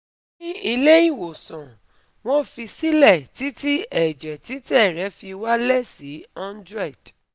Ni ile iwosan, wọ́n fi si lẹ̀ titi ẹ̀jẹ̀ titẹ̀ rẹ̀ fi wálẹ̀ si hundred